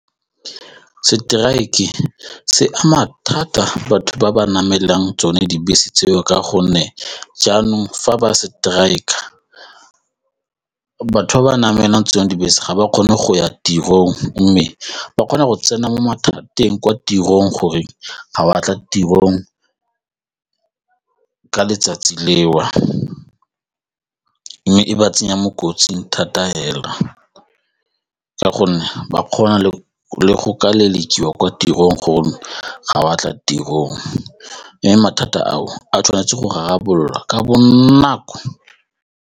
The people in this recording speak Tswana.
Strike-e se ama thata batho ba ba na emelang tsone dibese tseo ka gonne jaanong fa ba strike-a, batho ba ba namelang tse dingwe dibese ga ba kgone go ya tirong mme ba kgona go tsena mo mathateng kwa tirong goreng ga wa tla tirong ka letsatsi leo mme e ba tsenya mo kotsing thata fela ka gore ge ba kgona le go ka lelekiwa kwa tirong gore ga wa tla tirong mme mathata ao a tshwanetse go rarabololwa ka bonako.